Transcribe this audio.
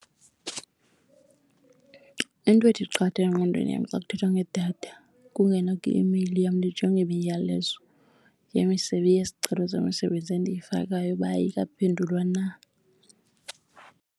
into ethi qatha engqondweni yam xa kuthethwa ngedatha kungena kwi-imeyili yam ndijonge imiyalezo yesicelo zemisebenzi endiyifakayo uba ayikaphendulwa na.